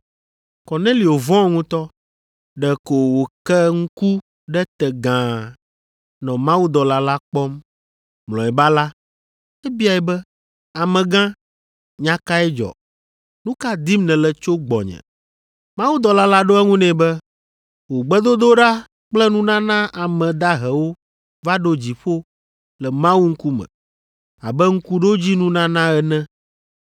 Kornelio vɔ̃ ŋutɔ. Ɖeko wòke ŋku ɖe te gãa nɔ mawudɔla la kpɔm. Mlɔeba la, ebiae be, “Amegã, nya kae dzɔ? Nu ka dim nèle tso gbɔnye?” Mawudɔla la ɖo eŋu nɛ be, “Wò gbedodoɖa kple nunana ame dahewo va ɖo dziƒo le Mawu ŋkume abe ŋkuɖodzinunana ene.